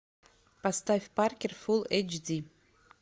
поставь паркер фулл эйч ди